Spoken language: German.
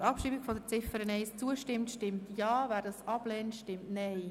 Wer die Ziffer 1 abschreiben möchte, stimmt Ja, wer dies ablehnt, stimmt Nein.